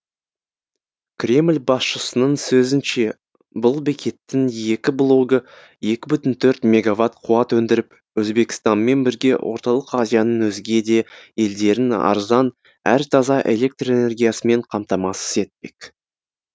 кремль басшысының сөзінше бұл бекеттің екі блогы екі бүтін төрт мегаватт қуат өндіріп өзбекстанмен бірге орталық азияның өзге де елдерін арзан әрі таза электр энергиясымен қамтамасыз етпек